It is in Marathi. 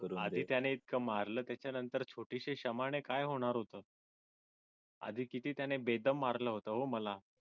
आधी त्याने इतक मारलं त्याच्यानंतर छोटीशी क्षमाने काय होणार होतं आधी किती त्याने बेदम मारला होता हो मला